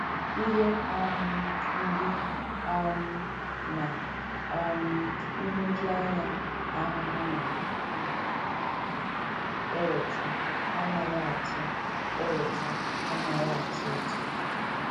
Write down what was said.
Ihe um mgbu um na um nhụjuanya ahụhụ na - eweta anaghị atọ eweta anaghị atọ ụtọ.